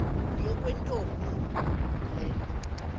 yakwantombi le nto